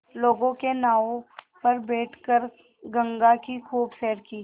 लोगों के नावों पर बैठ कर गंगा की खूब सैर की